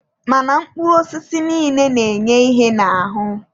Mana mkpụrụ osisi niile na-enye ihe n'ahụ.